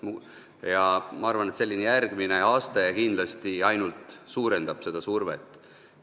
Ma arvan, et selline järgmine aste kindlasti ainult suurendab seda survet.